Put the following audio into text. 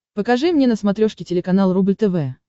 покажи мне на смотрешке телеканал рубль тв